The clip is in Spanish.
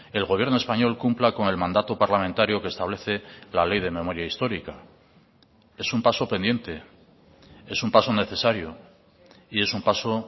el gobierno español cumpla con el mandato parlamentario que establece la ley de memoria histórica es un paso pendiente es un paso necesario y es un paso